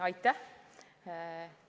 Aitäh!